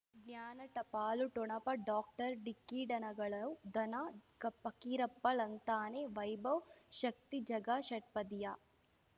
ಜ್ಞಾನ ಟಪಾಲು ಠೊಣಪ ಡಾಕ್ಟರ್ ಢಿಕ್ಕಿ ಡಣಗಳು ಧನ ಫಕೀರಪ್ಪ ಳಂತಾನೆ ವೈಭವ್ ಶಕ್ತಿ ಝಗಾ ಷಟ್ಪದಿಯ